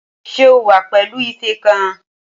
Ṣé o wà pẹ̀lú ife kan?